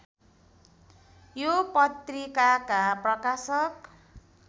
यो पत्रिकाका प्रकाशक